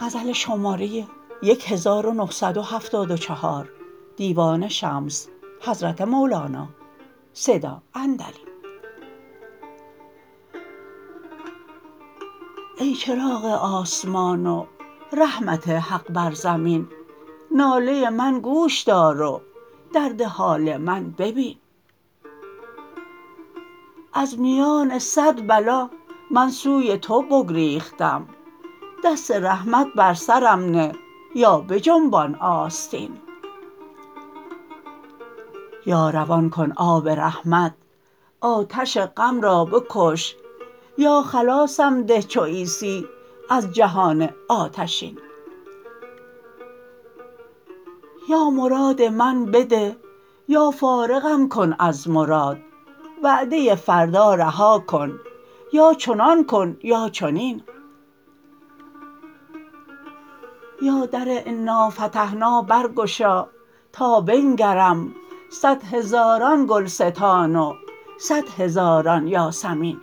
ای چراغ آسمان و رحمت حق بر زمین ناله من گوش دار و درد حال من ببین از میان صد بلا من سوی تو بگریختم دست رحمت بر سرم نه یا بجنبان آستین یا روان کن آب رحمت آتش غم را بکش یا خلاصم ده چو عیسی از جهان آتشین یا مراد من بده یا فارغم کن از مراد وعده فردا رها کن یا چنان کن یا چنین یا در انافتحنا برگشا تا بنگرم صد هزاران گلستان و صد هزاران یاسمین